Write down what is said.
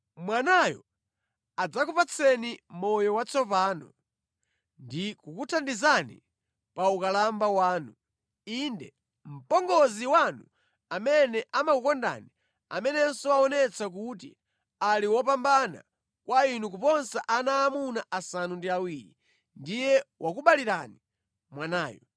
Mwanayo adzakupatseni moyo watsopano ndi kukuthandizani pa ukalamba wanu. Inde, mpongozi wanu amene amakukondani, amenenso waonetsa kuti ali wopambana kwa inu kuposa ana aamuna asanu ndi awiri, ndiye wakubalirani mwanayu.”